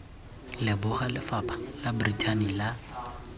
leboga lefapha la brithani la